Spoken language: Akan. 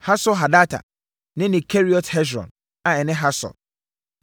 Hasor-Hadata ne ne Keriot Hesron (a ɛne Hasor),